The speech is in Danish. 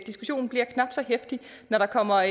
diskussionen bliver knap så heftigt når der kommer